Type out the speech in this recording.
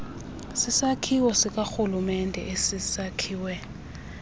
sisakhiwo sikarhulumente esisekwe